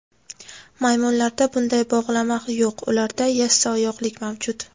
Maymunlarda bunday bog‘lama yo‘q ularda yassioyoqlik mavjud.